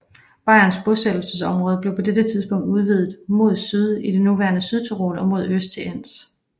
Bayernes bosættelsesområde blev på dette tidspunkt udvidet mod syd i det nuværende Sydtyrol og mod øst til Enns